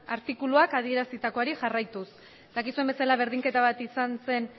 artikuluak adierazitakoari jarraituz dakizuen bezala berdinketa bat izan zen